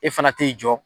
E fana t'i jɔ